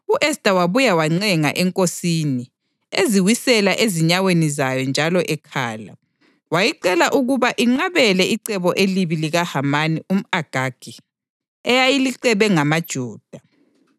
U-Esta wabuye wancenga enkosini, eziwisela ezinyaweni zayo njalo ekhala. Wayicela ukuba inqabele icebo elibi likaHamani umʼAgagi, ayelicebe ngamaJuda.